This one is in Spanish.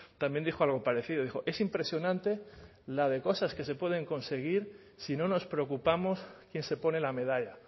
también dijo algo parecido dijo es impresionante la de cosas que se pueden conseguir si no nos preocupamos quién se pone la medalla